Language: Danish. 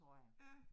Ja